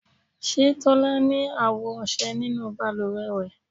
Ṣe tola ni awo ọṣẹ ninu baluwe rẹ